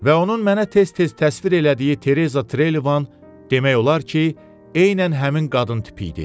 Və onun mənə tez-tez təsvir elədiyi Tereza Trelivan demək olar ki, eynən həmin qadın tipi idi.